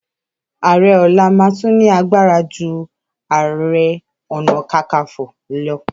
Ààrẹ ọ̀la máa tún ní agbara ju Ààrẹ Ọ̀nà Kakaǹfò lọ.